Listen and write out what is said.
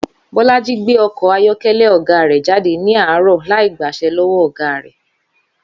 Bólájí gbé okò ayókélé ògá rè jáde ní àárò láì gbàse lówó ògá rè